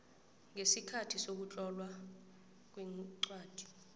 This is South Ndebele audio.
ngesikhathi sokutlolwa kwencwadi